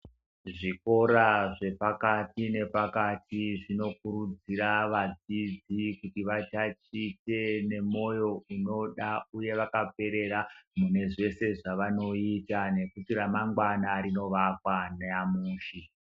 Zvikora zvepakati nepakati zvinokurudzira vadzidzi kuti vatatiche nemoyo unoda uye vakaperera munezvose zvavanoita nekuti ramangwana rinoakwa nyamushi.